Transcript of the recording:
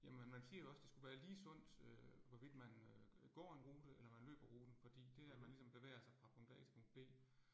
Jamen man siger jo også det skulle være lige sundt øh hvorvidt man øh går en rute eller man løber ruten fordi det at man ligesom bevæger sig fra punkt A til punkt B